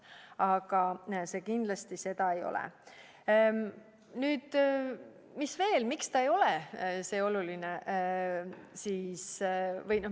Aga see kindlasti seda ei ole.